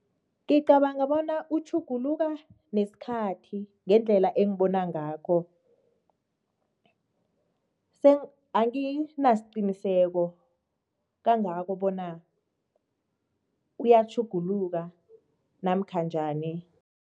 Ngicabanga bona utjhuguluka nesikhathi, ngendlela engibona ngakho. Anginasiqiniseko kangako bona uyatjhuguluka namkha njani.